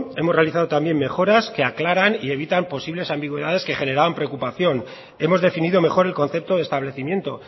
hemos realizado también mejorar que aclaran y evitan posibles ambigüedades que generaban preocupación hemos definido mejor el concepto de establecimiento